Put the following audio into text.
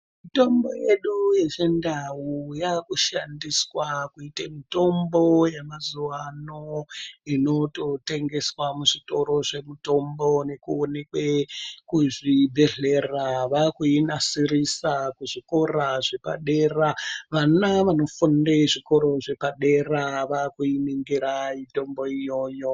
Mitombo yedu yeChindau yakushandiswa kuite mitombo yemazuva ano inototengeswa muzvitoro zvemutombo nekuonekwe kuzvibhedhlera. Vakuinasirisa kuzvikora zvepadera. Vana vanofunde zvikoro zvepadera vakuiningira mitombo iyoyo.